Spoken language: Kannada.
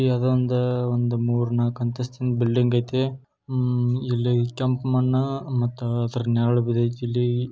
ಯಾವ್ದೋ ಒಂದ್ ಹ ಒಂದ್ ಮೂರ್ನಾಕ್ ಅಂತಹಸ್ತಿನ್ ಬಿಲ್ಡಿಂಗ್ ಐತೆ. ಹಮ್ ಇಲ್ಲಿ ಕೆಂಪ್ ಮಣ್ಣು ಹ ಮತ್ತ ಅದ್ರ ನೆರಳ್ ಬಿದಿತ್ ಇಲ್ಲಿ.